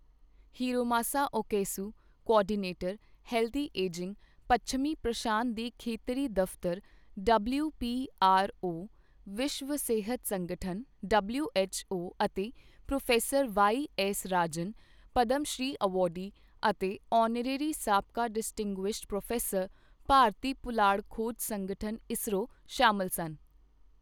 Hiromasa Okayasu, coordinator, healthy ageing, ਪੱਛਮੀ ਪ੍ਰਸ਼ਾਂਤ ਦੇ ਖੇਤਰੀ ਦਫਤਰ ਡਬਲਯੂਪੀਆਰਓ, ਵਿਸ਼ਵ ਸਿਹਤ ਸੰਗਠਨ ਡਬਲਯੂਐੱਚਓ ਅਤੇ professor Y S Rajan, Padma Shri awardee ਅਤੇ ਆਨਰੇਰੀ ਸਾਬਕਾ ਡਿਸਟਿੰਗੂਇਸ਼ਟ ਪ੍ਰੋਫੈਸਰ, ਭਾਰਤੀ ਪੁਲਾੜ ਖੋਜ ਸੰਗਠਨ ਇਸਰੋ, ਸ਼ਾਮਲ ਸਨ।